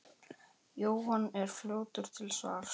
Jóhann er fljótur til svars.